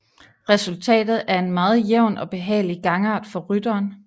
Resultatet er en meget jævn og behagelig gangart for rytteren